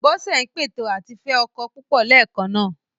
Bọ́sẹ̀ ń pète àti fẹ́ ọkọ púpọ̀ léèkan náà.